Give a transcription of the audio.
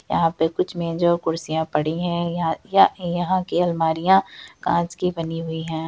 यहाँ पे कुछ मेज और कुर्सिया पड़ी है यहां या यहां की अलमाड़ियां कांच की बनी हुई है।